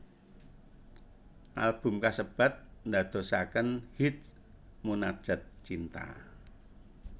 Album kasebat ndadosaken hits Munajat Cinta